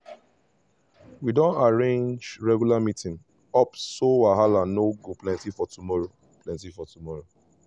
we don arrange regular meet-ups so wahala no go plenty for tomorrow. plenty for tomorrow.